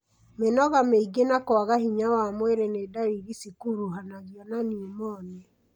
Mĩnoga mĩingĩ na kwaga hinya wa mwĩrĩ nĩ ndariri cikuruhanagio na pneumonia.